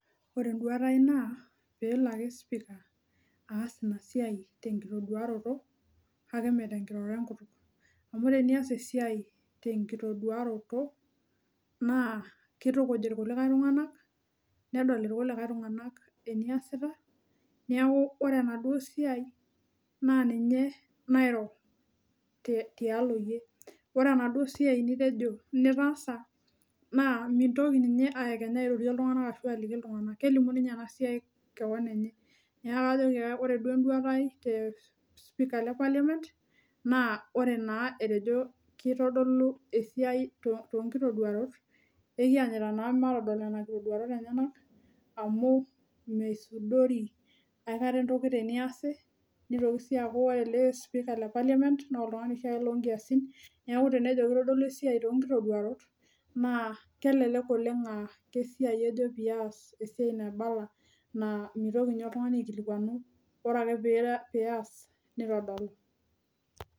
Ore enduaata ai naa peelo ake spika aas ina siai tenkitaduarato kake meetinkiroroto enkutuk. Amu tenias esiai tenkitaduarato naa kitukuj kulikae tunganak, nedol kulikae tunganak eniasiata, neeku ore enaduo siai naa ninye nairo tialo iyie. Ore enaduo siai nitejo nitaasa, naa mintoki ninye aekenya airorie iltunganak kelimu ninye ena siai kewon enye. Neeku ore duo enduaata ai te spika le parliament naa ore naa etejo kitodolu esiai tonkitoduarot, ekianyita naa matodol nena kitoduarot enyanak, amu misudori aikata entoki teneasi, nitoki sii aaku ore ele spika le parliament naa oltungani oshiake loo nkiasin, neeku tenejo kitodolu esiai too nkitaduarot naa kelelek oleng' aa esiai ejo peayas esiai naibala naa mitoki ninye oltungani aikilikuanu. Ore ake peayas neitodolu.